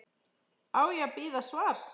Á ég að bíða svars?